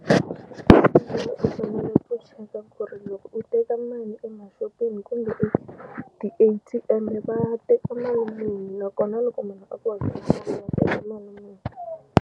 U fanele ku cheka ku ri loko u teka mali emaxopeni kumbe ti-A_T_M va teka mali muni nakona loko munhu a ku hakela teka mali muni.